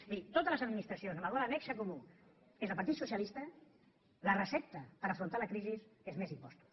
vull dir a totes les administracions en les quals el nexe comú és el partit socialista la recepta per afrontar la crisi és més impostos